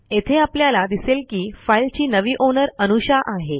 येथे आपल्याला दिसेल की फाईलची नवी ओनर अनुषा आहे